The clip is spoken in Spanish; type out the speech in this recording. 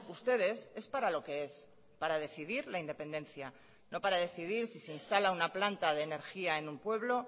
ustedes es para lo que es para decidir la independencia no para decidir si se instala una planta de energía en un pueblo